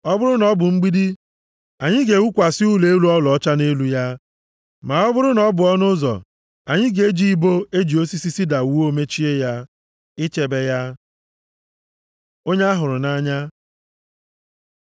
Ọ bụrụ na ọ bụ mgbidi, anyị ga-ewukwasị ụlọ elu ọlaọcha nʼelu ya; ma ọ bụrụ na ọ bụ ọnụ ụzọ, anyị ga-eji ibo e ji osisi sida wuo mechie ya, ichebe ya. Onye a hụrụ nʼanya